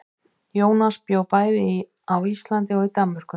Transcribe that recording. Jónas bjó bæði á Íslandi og í Danmörku.